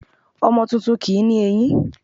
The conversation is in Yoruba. Ọmọ tuntun kì ní eyín